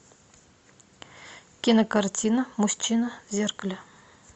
кинокартина мужчина в зеркале